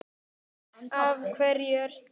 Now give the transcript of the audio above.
Af hverju ert þú.